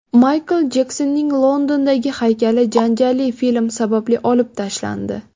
Maykl Jeksonning Londondagi haykali janjalli film sababli olib tashlandi.